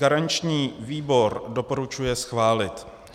Garanční výbor doporučuje schválit.